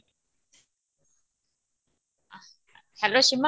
hello Sima